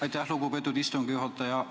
Aitäh, lugupeetud istungi juhataja!